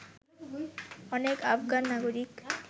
অনেক আফগান নাগরিক